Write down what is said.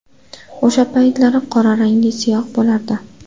O‘sha paytlari qora rangli siyoh bo‘lardi.